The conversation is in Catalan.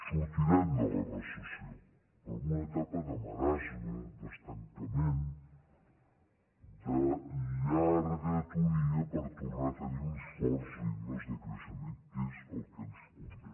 sortirem de la recessió però en una etapa de marasme d’estancament de llarga atonia per tornar a tenir uns forts ritmes de creixement que és el que ens convé